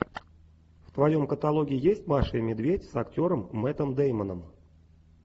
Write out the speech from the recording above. в твоем каталоге есть маша и медведь с актером мэттом деймоном